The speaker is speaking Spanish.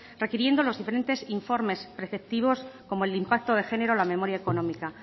requiriendo los diferentes informes preceptivos como el impacto de género o la memoria económica